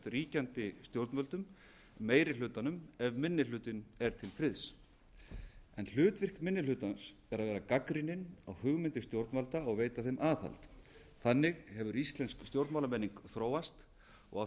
ríkjandi stjórnvöldum meiri hlutanum ef minni hlutinn er til friðs hlutverk minni hlutans á að vera gagnrýninn og hugmyndir stjórnvalda og veita þeim aðhald þannig hefur íslensk stjórnmálamenning þróast og á